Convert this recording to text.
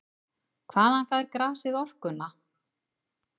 Hvaðan fær grasið orkuna?